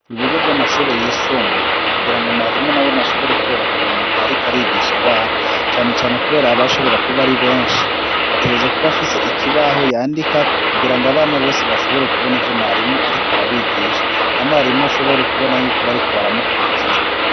Ibigo vy'amashuri yisumbuye kugira ngo mwarimu nawene ashobore kworoherwa mu gihe ariko arigisha, abana cane cane kubera aba ashobora kuba ari benshi, ategerezwa kuba afise ikibaho yandikako, kugira ngo abana bose bashobore kubona ivyo mwarimu ariko arabigisha, na mwarimu ashobore kubona yuko bariko baramukurikira.